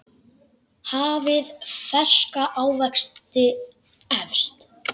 Hafið ferska ávexti efst.